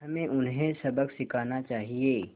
हमें उन्हें सबक सिखाना चाहिए